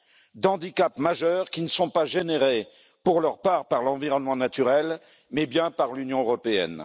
de handicaps majeurs qui ne sont pas générés, pour leur part, par l'environnement naturel, mais bien par l'Union européenne.